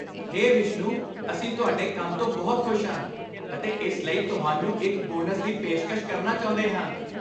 ਹੇ ਵਿਸ਼ਨੂੰ, ਅਸੀਂ ਤੁਹਾਡੇ ਕੰਮ ਤੋਂ ਬਹੁਤ ਖੁਸ਼ ਹਾਂ ਅਤੇ ਇਸ ਲਈ ਤੁਹਾਨੂੰ ਇੱਕ ਬੋਨਸ ਦੀ ਪੇਸ਼ਕਸ਼ ਕਰਨਾ ਚਾਹੁੰਦੇ ਹਾਂ।